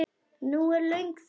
Nú er löng þögn.